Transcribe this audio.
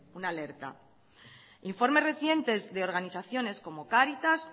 una alerta informes recientes de organizaciones como cáritas